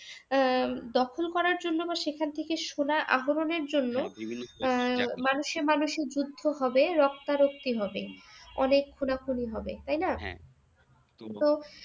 আহ দখল করার জন্য বা সেখান থেকে সোনা আহরনের জন্য আহ মানুষে মানুষে যুদ্ধ হবে, রক্তারক্তি হবে অনেক খুনাখুনি হবে তাই না? তো